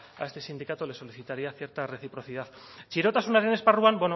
a este sindicato le solicitaría cierta reciprocidad txirotasunaren esparruan